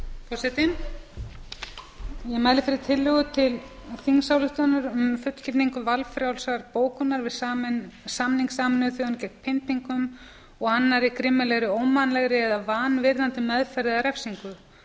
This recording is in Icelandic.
forseti ég mæli fyrir tillögu til þingsályktunar um fullgildingu valfrjálsrar bókunar við samning sameinuðu þjóðanna gegn pyndingum og annarri grimmilegri ómannlegri eða vanvirðandi meðferð eða refsingu